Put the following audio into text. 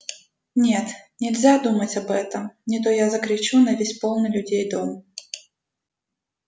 нет нельзя думать об этом не то я закричу на весь полный людей дом